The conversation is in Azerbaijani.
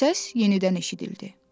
Səs yenidən eşidildi.